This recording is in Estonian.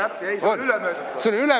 Ei, see oli ülemöödunud aastal.